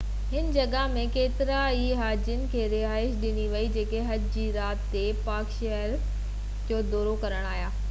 هن جڳهہ ۾ ڪيترن ئي هاجين کي رهائش ڏني وئي جيڪي حج جي رات تي پاڪ شهر جو دورو ڪرڻ آيا